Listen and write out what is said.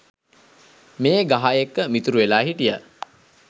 මේ ගහ එක්ක මිතුරු වෙලා හිටියා.